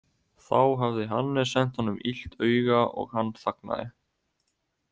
Þá hafði Hannes sent honum illt auga og hann þagnaði.